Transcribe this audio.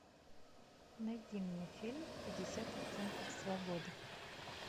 найди мне фильм пятьдесят оттенков свободы